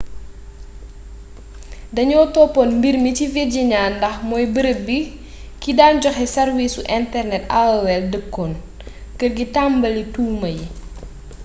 dañoo toppoon mbir mi ci virginia ndax mooy barab bi ki daan joxe sarwiisi internet aol dëkkoon kër gi tambali tuuma yi